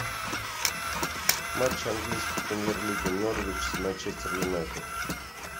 матч английской премьер лиги норвич с манчестер юнайтед